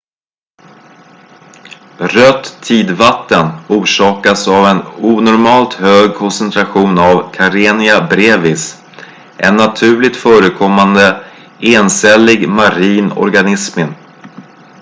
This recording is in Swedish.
rött tidvatten orsakas av en onormalt hög koncentration av karenia brevis en naturligt förekommande encellig marin organism